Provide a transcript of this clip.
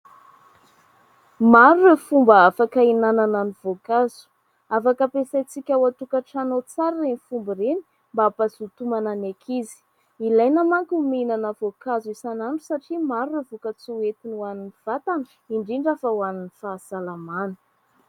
Maro ireo fomba afaka hinanana ny voankazo ; afaka ampiasaintsika ao an-tokantrano tsara ireny fomba ireny mba hampazoto homana ny ankizy. Ilaina manko ny mihinana voankazo isan'andro satria maro ireo voka-tsoa ho entiny ho an'ny vatana indrindra fa ho an'ny fahasalamana.